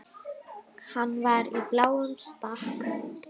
Hann var í bláum stakk.